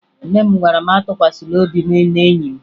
Nne m gwara m atụkwasala obi m n'enyi m